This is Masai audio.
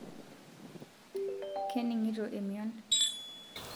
keningito emion